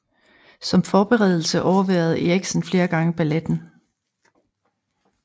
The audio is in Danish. Som forberedelse overværede Eriksen flere gange balletten